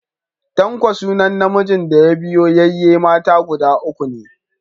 Tanko sunan namijin da ya biyo yayye mata guda uku ko ne.